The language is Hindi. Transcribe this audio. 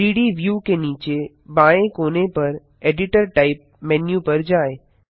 3डी व्यू के नीचे बाएँ कोने पर एडिटर टाइप मेन्यू पर जाएँ